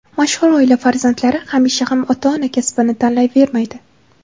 Mashhur oila farzandlari hamisha ham ota-ona kasbini tanlayvermaydi.